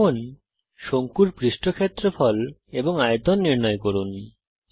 এখন শঙ্কুর পৃষ্ঠ ক্ষেত্রফল এবং আয়তন নির্ণয় করুন